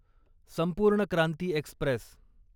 संपूर्ण क्रांती एक्स्प्रेस